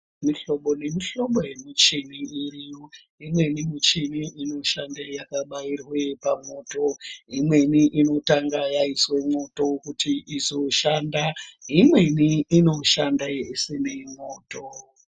Mihlobo nemihlobo yemichini iriyo imweni muchini inoshande yakabairwe pamwoto imweni inotanga yaiswe mwoto kuti izoshanda imweni inoshanda yeisime mwoto.